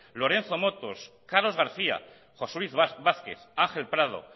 lorenzo motos carlos garcía josé luis vázquez ángel prado